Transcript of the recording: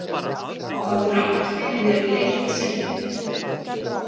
Hafðu rangt fyrir þér í eitt sinn.